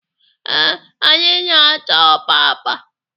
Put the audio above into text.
Ee, anyị na-ata ọpapa.